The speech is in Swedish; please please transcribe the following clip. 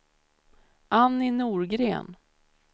Annie Norgren